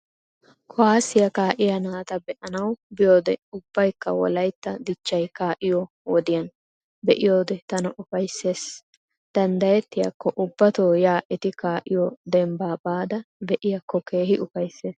Kuwaassiyaa kaa"iyaa naata be"anawu biyoodee ubbakka wolaytta dichchay kaa"iyoo wodiyan be"iyoodee tana ufaysses. Danddayettiyaakko ubbatoo yaa eti kaa"iyoo dembbaa baada be"iyaakko keehi ufaysses.